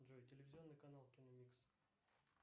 джой телевизионный канал киномикс